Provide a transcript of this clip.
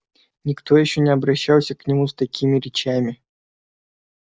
никто ещё не обращался к нему с такими речами